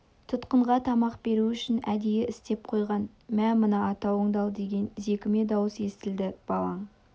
тұтқынға тамақ беру үшін әдейі істеп қойған мә мына атауыңды ал деген зекіме дауыс естілді балаң